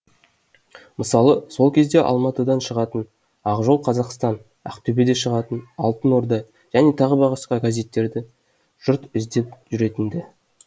мысалы сол кезде алматыдан шығатын ақжол қазақстан ақтөбеде шығатын алтын орда және т б газеттерді жұрт іздеп жүретін ді